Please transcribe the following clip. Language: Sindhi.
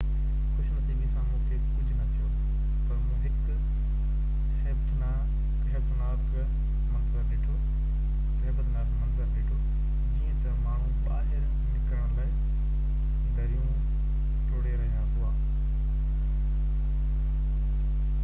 خوش نصيبي سان مونکي ڪجهہ نہ ٿيو پر مون هڪ هيبتناڪ منظر ڏٺو جيئن تہ ماڻهو ٻاهر نڪرڻ لاءِ دريون ٽوڙهي رهيا هئا